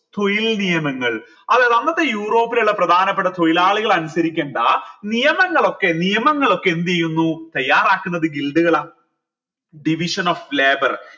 തൊഴിൽ നിയമങ്ങൾ അതെ അന്നത്തെ യൂറോപ്പിലുള്ള പ്രധാനപ്പെട്ട തൊഴിലാളികൾ അനുസരിക്കണ്ട നിയമങ്ങളൊക്കെ നിയമങ്ങൾ ഒക്കെ എന്ത് ചെയ്യുന്നു തയ്യാറാക്കുന്നത് കള division of labour